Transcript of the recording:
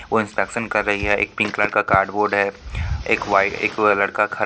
वो इंस्पेक्शन कर रही है एक पिंक कलर का कार्ड बोर्ड है एक वाइ एक लड़का खड़ा --